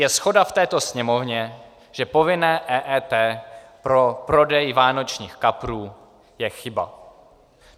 Je shoda v této Sněmovně, že povinné EET pro prodej vánočních kaprů je chyba.